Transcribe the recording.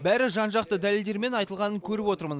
бәрі жан жақты дәлелдермен айтылғанын көріп отырмын